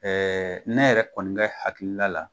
Ɛɛ ne yɛrɛ kɔni Kɛ hakilila la